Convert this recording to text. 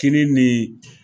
Tini nin ye